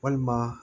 Walima